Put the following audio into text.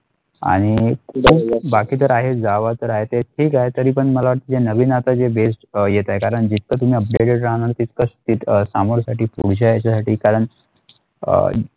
आणि बाकी तर आहे गावात आहे ते ती ठीक आहे तरी पण मला वाटते नवीन आता जे best अ येत आहे कारण जे तर तुम्ही updated रहाणार तितकच सामोर साठी पुढच्या ह्याच्यासाठी कारण अ.